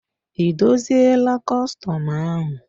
Ị dozila kọstọm ahụ?